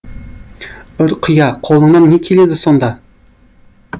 ұрқия қолыңнан не келеді сонда